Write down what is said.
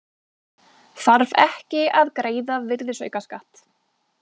Þarf ekki að greiða virðisaukaskatt